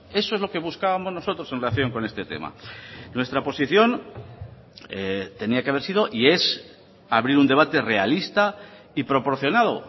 eso es lo que buscábamos nosotros en relación con este tema nuestra posición tenía que haber sido y es abrir un debate realista y proporcionado